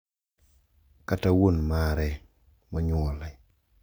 Kata wuon mare monyuole.